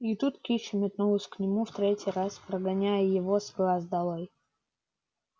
и тут кич метнулась к нему в третий раз прогоняя его с глаз долой